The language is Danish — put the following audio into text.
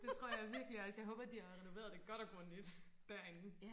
Det tror jeg virkelig også jeg håber de har renoveret det godt og grundigt derinde